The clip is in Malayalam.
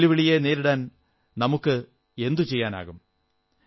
ഈ വെല്ലുവിളിയെ നേരിടാൻ നമുക്കെന്ത് ചെയ്യാനാകും